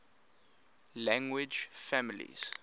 language families